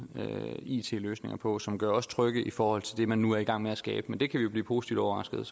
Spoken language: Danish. it løsninger på som gør os trygge i forhold til det man nu er i gang med at skabe men det kan vi jo blive positivt overrasket